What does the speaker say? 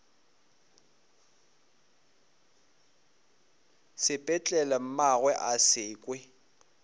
sepetlele mmagwe a se kwe